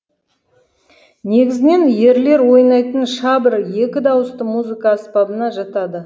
негізінен ерлер ойнайтын шабр екі дауысты музыка аспабына жатады